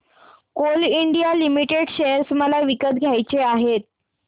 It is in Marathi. कोल इंडिया लिमिटेड शेअर मला विकत घ्यायचे आहेत